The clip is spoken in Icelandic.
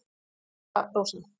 Kæra Rósa